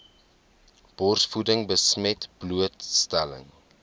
borsvoeding besmet blootstelling